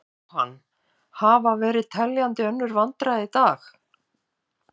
Jóhann: Hafa verið teljandi önnur vandræði í dag?